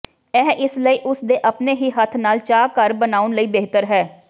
ਇਹ ਇਸ ਲਈ ਉਸ ਦੇ ਆਪਣੇ ਹੀ ਹੱਥ ਨਾਲ ਚਾਹ ਘਰ ਬਣਾਉਣ ਲਈ ਬਿਹਤਰ ਹੈ